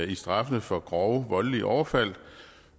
i straffene for grove voldelige overfald